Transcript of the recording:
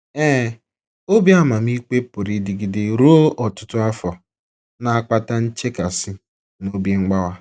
Ee, obi amamikpe pụrụ ịdịgide ruo ọtụtụ afọ, na - akpata nchekasị na obi mgbawa.